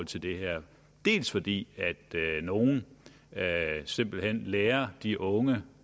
til det her dels fordi nogle simpelt hen lærer de unge